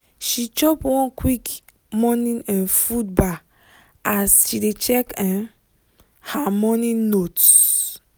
she chop one quick morning um food bar as she dey check um her um morning notes.